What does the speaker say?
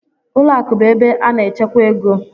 Ụlọ akụ bụ ebe a na-echekwa ego.